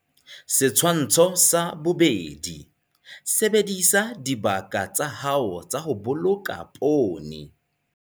Setshwantsho sa 2. Sebedisa dibaka tsa hao tsa ho boloka poone.